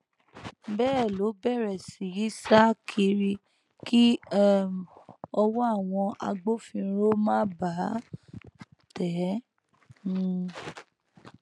bẹẹ ló bẹrẹ sí í sá kiri kí um ọwọ àwọn agbófinró má bàa tẹ ẹ um